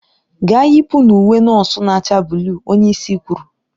Gaa yipụ ​​n'uwe nọọsụ na-acha buluu! onye isi kwuru.